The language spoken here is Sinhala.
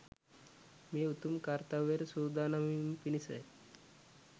මේ උතුම් කර්ත්‍යවයට සූදානම් වීම පිණිස